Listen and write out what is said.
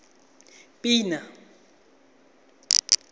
pina